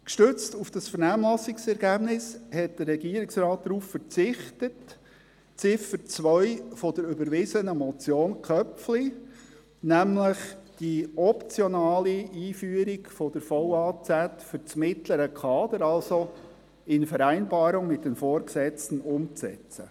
Gestützt auf das Vernehmlassungsergebnis hat der Regierungsrat darauf verzichtet, die Ziffer 2 der überwiesenen Motion Köpfli , nämlich die optionale Einführung der Vertrauensarbeitszeit für das mittlere Kader in Vereinbarung mit den Vorgesetzten umzusetzen.